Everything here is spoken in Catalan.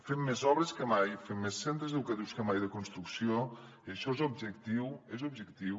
fem més obres que mai fem més centres educatius que mai de construcció i això és objectiu és objectiu